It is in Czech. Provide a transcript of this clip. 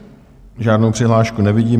Žádnou přihlášku nevidím.